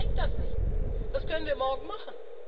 An Deutschland hängt das nicht, das können wir morgen machen.